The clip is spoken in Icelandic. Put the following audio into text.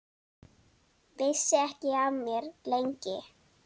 Vissi ekki af mér, lengi.